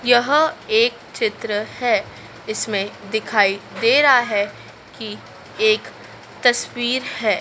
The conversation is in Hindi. यहां एक चित्र है इसमें दिखाई दे रहा है कि एक तस्वीर है।